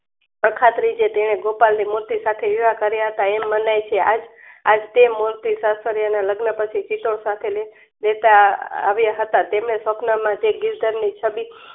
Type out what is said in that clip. અખા ત્રીજે તેણે ગોપાદ ની મૂર્તિ સાથે હીરાકરયાત એમ્નાય છે. આજ આજ તેમૂર્તિ સત્શ્રયના લગ્ન પછી સીસોદ સાથે વેતા આ આ વ્યાહતા તેમને સપનામાં તે ગીરઘરની છબી